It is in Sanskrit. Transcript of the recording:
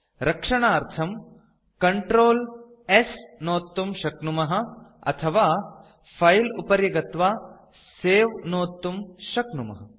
रक्षणार्थं Ctrl s नोत्तुं शक्नुमः अथवा फिले उपरि गत्वा सवे नोत्तुं शक्नुमः